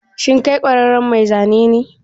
Shin kai ƙwararren mai zane ne?